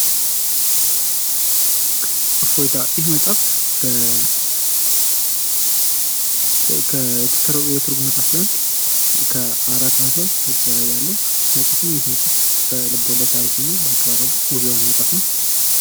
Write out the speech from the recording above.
እፎይታ ይህ መጽሐፍ የትርጉም መፅሐፍ ሲሆን ከአራት መቶ ገፅ በላይ ያለው መፅሐፍ ነው ። ይህ መፅሐፍ በልቦለድ ታሪኩ እና በአቀራርቡ ውብ የሆነ መጽሐፍ ነው ።